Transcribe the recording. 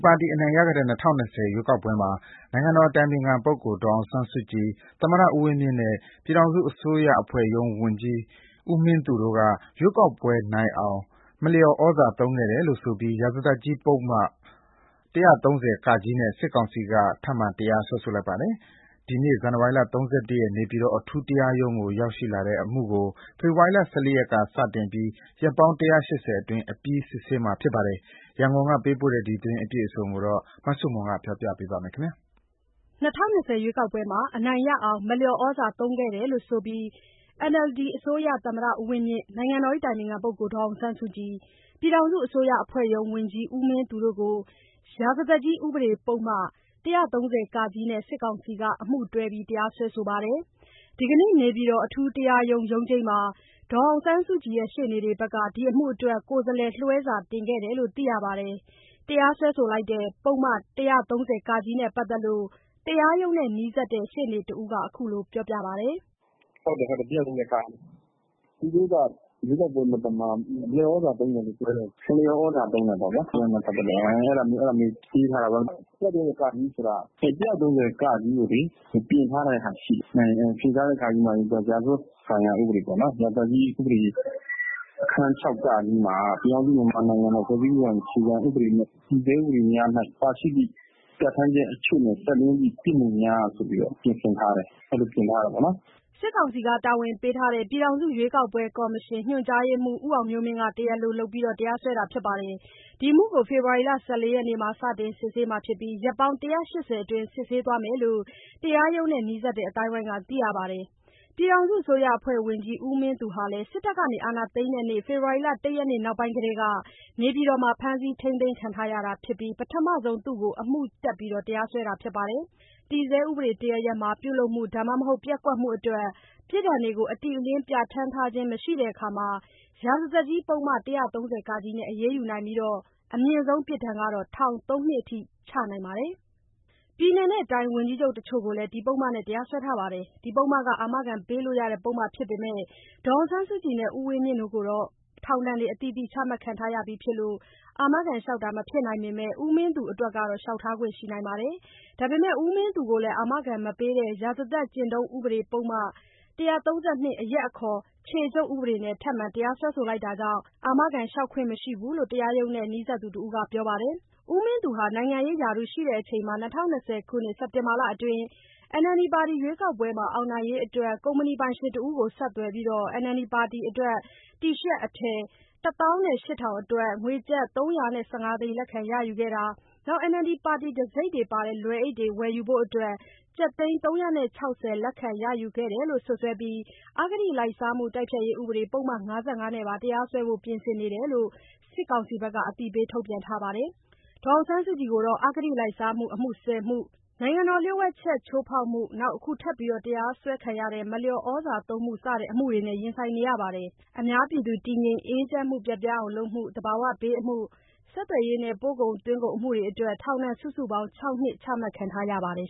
ပါတီအနိုင်ရခဲ့တဲ့ ၂၀၂၀ ရွေးကောက်ပွဲမှာ နိုင်ငံတော်အတိုင်ပင်ခံပုဂ္ဂိုလ် ဒေါ်အောင်ဆန်းစုကြည်၊ သမ္မတဦးဝင်းမြင့်နဲ့ ပြည်ထောင်စုအစိုးရအဖွဲ့ရုံး ဝန်ကြီး ဦးမင်းသူတို့က ရွေးကောက်ပွဲနိုင်အောင် မလျော်သြဇာသုံးခဲ့တယ်လို့ဆိုပြီး ရာဇသတ်ကြီး ဥပဒေပုဒ်မ ၁၃၀-က နဲ့ စစ်ကောင်စီက ထပ်မံတရားစွဲလိုက်ပါတယ်။ ဒီနေ့ ဇန်နဝါရီ ၃၁ ရက် နေပြည်တော်အထူးတရားရုံးကို ရောက်လာတဲ့အမှုကို ဖေဖော်ဝါရီ ၁၄ ရက်က စတင်ပြီး ရက်ပေါင်း ၁၈၀ အတွင်း အပြီးစစ်ဆေးမှာဖြစ်ပါတယ်။ ရန်ကုန်ကပေးပို့တဲ့သတင်းအပြည့်အစုံကို မဆုမွန်က တင်ပြပေးထားပါတယ်။ ၂၀၂၀ ရွေးကောက်ပွဲမှာ အနိုင်ရအောင် မလျော်သြဇာသုံးခဲ့တယ်လို့ဆိုပြီး NLD အစိုးရ သမ္မတဦးဝင်းမြင့်၊ နိုင်ငံတော်အတိုင်ပင်ခံ ဒေါ်အောင်ဆန်းစုကြည်၊ ပြည်ထောင်စုအစိုးရအဖွဲ့ရုံး ဝန်ကြီးဦးမင်းသူတို့တို့ ရာဇသတ်ကြီး ဥပဒေပုဒ်မ ၁၃၀-က နဲ့ စစ်ကောင်စီက အမှုတွဲပြီး တရားစွဲပါတယ်။ ဒီနေ့နေပြည်တော်အထူးတရားရုံး ရုံးချိန်းမှာ ဒီအမှုအတွက် ဒေါ်အောင်ဆန်းစုကြည်ရှေ့နေတွေ ကိုယ်စားလှယ်လွှဲစာ တင်ခဲ့တယ်လို့ သိရပါတယ်။ တရားစွဲတဲ့ ပုဒ်မ ၁၃၀-က နဲ့ပတ်သက်လို့ တရားရုံးနဲ့နီးစပ်တဲ့ ရှေ့နေတဦးက ခုလိုပြောပြပါတယ်။ “ဟုတ်တယ်။ ၁၃၀-က နဲ့။ သူတို့က ရွေးကောက်ပွဲမသမာမှု၊ ရွေးကောက်ပွဲအတွင်း မလျော်ဩဇာသုံးတယ်လို့ပြောပြီး စွဲတယ်။ မလျော်ဩဇာသုံးတယ်ပေါ့ဗျာ၊ ရွေးကောက်ပွဲနဲ့ပတ်သတ်လို့ အဲလိုရေးထားတယ်။ အဲဒီ ၁၃၀-က ဆိုတာ ၁၃၀- က ကို ပြင်ထားတာရှိတယ်။ ပြင်ထားတာက ရာဇသတ်ကြီးဥပဒေ အခန်း ၆ က မှာက ပြည်ထောင်စုမြန်မာနိုင်ငံတော် ဖွဲ့စည်းပုံအခြေခံနဲ့ တည်ဆဲ ဥပဒေများတွင်ပါရှိသည့် အချက်နဲ့ ဆက်လျဉ်းသည့်ပြစ်မှုများဆိုပြီး ပြင်ဆင်ထားတယ်။ အဲလိုပြင် ထားတယ်။” စစ်ကောင်စီ တာဝန်ပေးထားတဲ့ပြည်ထောင်စုရွေးကောက်ပွဲကော်မရှင် ညွှန်ကြားရေးမှူး ဦးအောင်မျိုးမင်းက တရားလိုလုပ်ပြီး တရားစွဲတာဖြစ်ပါတယ်။ ဒီအမှုကို ဖေဖော်ဝါရီလ ၁၄ ရက်နေ့မှာ စတင်စစ်ဆေးပြီး ရက်ပေါင်း ၁၈၀ အတွင်း စစ်ဆေးသွားမယ်လို့ တရားရုံးနဲ့ နီးစပ်တဲ့ အသိုင်းအဝိုင်းက သိရပါတယ်။ ပြည်ထောင်စုအစိုးရအဖွဲ့ ဝန်ကြီး ဦးမင်းသူဟာလည်းစစ်တပ်က အာဏာသိမ်းတဲ့နေ့ ဖေဖော်ဝါရီ ၁ ရက်နေ့ နောက်ပိုင်းကတည်းက နေပြည်တော်မှာ ဖမ်းဆီးထိန်းသိမ်းခံထားရတာဖြစ်ပြီး ပထမဆုံးအမှုတပ် တရားစွဲတာဖြစ်ပါတယ်။ တည်ဆဲဥပဒေတရပ်ရပ်မှာ ပြုလုပ်မှု ဒါမှမဟုတ် ပျက်ကွက်မှုအတွက် ပြစ်ဒဏ်တွေကို အတိအလင်း ပြဌာန်းထားခြင်းမရှိတဲ့အခါ ရာဇသတ်ကြီးပုဒ်မ ၁၃၀-က နဲ့ အရေးယူနိုင်ပြီး အမြင့်ဆုံး ပြစ်ဒဏ် ထောင် ၃ နှစ် အထိချနိုင်ပါတယ်။ ပြည်နယ်နဲ့တိုင်း ဝန်ကြီးချုပ်တချို့ကိုလည်း ဒီပုဒ်မနဲ့ တရားစွဲထားပါတယ်။ ဒီပုဒ်မဟာ အာမခံပေးလို့ရတဲ့ပုဒ်မ ဖြစ်ပေမယ့် ဒေါ်အောင်ဆန်းစုကြည်နဲ့ ဦးဝင်းမြင့်တို့ကတော့ ထောင်ဒဏ်တွေအသီးသီး ချမှတ် ခံထားရပြီးဖြစ်လို့ အာမခံလျှောက်မဖြစ်နိုင်ပေမယ့် ဦးမင်းသူအတွက်ကတော့ လျှောက်ထားခွင့်ရှိပါတယ်။ ဒါပေမယ့် ဦးမင်းသူကိုလည်း အာမခံမပေးတဲ့ရာဇသတ်ကျင့်ထုံး ဥပဒေပုဒ်မ ၁၃၂ အရပ်အခေါ် ခြေချုပ်ဥပဒေနဲ့ထပ်မံတရားစွဲဆိုလိုက် တာကြောင့် အာမခံလျှောက်ခွင့်မရှိဘူးလို့ တရားရုံးနဲ့ နီးစပ်သူတဦးကပြောပါတယ်။ ဦးမင်းသူဟာ နိုင်ငံရေးရာထူးရှိစဉ် ၂၀၂၀ ခုနှစ်၊ စက်တင်ဘာလအတွင်းက NLD ပါတီ ရွေးကောက်ပွဲမှာ အောင်နိုင်ရေးအတွက် ကုမ္ပဏီပိုင်ရှင်တဦးကို ဆက်သွယ်ပြီး NLD ပါတီ တီရှပ်အထည် ၁၈,၀၀၀ အတွက် ငွေကျပ် ၃၁၅ သိန်း လက်ခံရယူတာ၊ NLD ပါတီ တံဆိပ်ပါတဲ့ လွယ်အိတ်တွေ ဝယ်ယူဖို့အတွက် ကျပ်သိန်း ၃၆၀ လက်ခံရယူခဲ့တယ်လို့ စွပ်စွဲကာ အဂတိလိုက်စားမှု တိုက်ဖျက်ရေး ဥပဒေ ပုဒ်မ ၅၅ နဲ့ပါ တရားစွဲဖို့ ပြင်နေတယ်လို့ စစ်ကောင်စီဘက်က အသိပေး ထုတ်ပြန်ထားပါတယ်။ ဒေါ်အောင်ဆန်းစုကြည်ကတော့ အဂတိလိုက်စားမှု အမှု ၁၀ မှု၊ နိုင်ငံတော်လျို့ဝှက်ချက်ချိုးဖောက်မှု၊ အခုထပ်ပြီး တရားစွဲခံရတဲ့ မလျော်သြဇာသုံးမှု စတဲ့ အမှုတွေကို ရင်ဆိုင်နေရပါတယ်။ အများပြည်သူတည်ငြိမ်အေးချမ်းမှုပျက်ပြားအောင်လုပ်မှု၊ သဘာဝဘေးအမှု၊ ဆက်သွယ်ရေးနဲ့ ပို့ကုန်သွင်းကုန်အမှုတွေအတွက် ထောင်ဒဏ် စုစုပေါင်း ၆ နှစ်ချမှတ်ခံ ထားရပါတယ်